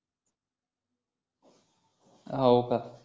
हो का